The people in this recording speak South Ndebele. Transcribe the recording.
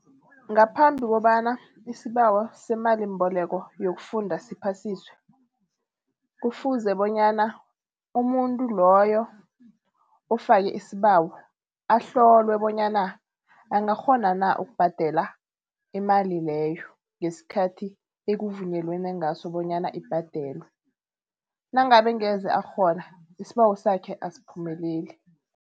Ngaphambi kobana isibawo semalimboleko yokufunda siphasiswe, kufuze bonyana umuntu loyo ofake isibawo ahlolwe bonyana angakghona na ukubhadela imali leyo ngesikhathi ekuvunyelenwe ngaso bonyana ibhadelwe. Nangabe angeze akghona isibawo sakhe asiphumeleli.